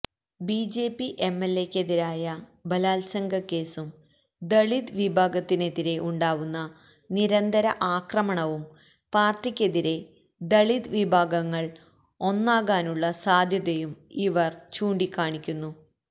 BJP എംഎല്എയ്ക്കെതിരായ ബലാത്സംഗക്കേസും ദളിത് വിഭാഗത്തിനെതിരെ ഉണ്ടാകുന്ന നിരന്തര ആക്രമണവും പാര്ട്ടിക്കെതിരെ ദളിത് വിഭാഗങ്ങള് ഒന്നാകാനുള്ള സാധ്യതയും ഇവര് ചൂണ്ടിക്കാണിക്കുന്നു